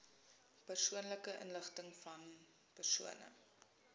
persoonlike inligtingvan persone